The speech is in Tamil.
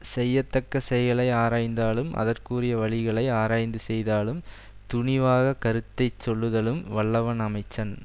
செய்யத்தக்க செயலை ஆராய்தாலும் அதற்குரிய வழிகளை ஆராய்ந்து செய்தாலும் துணிவாகக் கருத்தை சொல்லுதலும் வல்லவன் அமைச்சன்